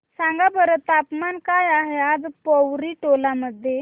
सांगा बरं तापमान काय आहे आज पोवरी टोला मध्ये